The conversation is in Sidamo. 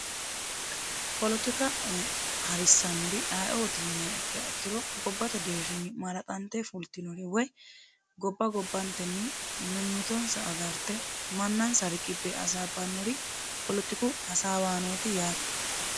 polotika harissannori ayiioti yiniha akkiro gobbate deerrinni maaraxante fultinori woy gobba gobbantenni mimmitonsa agarte mannansa riqibbe hasaabbannori polotiku hasaawaanooti yaate